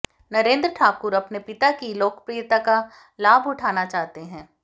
नरेंद्र ठाकुर अपने पिता की लोकप्रियता का लाभ उठाना चाहते हैं